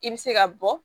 I bɛ se ka bɔ